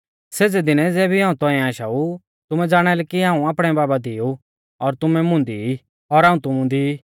सेज़ै दिनै ज़ेबी हाऊं तौंइऐ आशाऊ तुमै ज़ाणालै कि हाऊं आपणै बाबा दी ऊ और तुमै मुंदी ई और हाऊं तुमु दी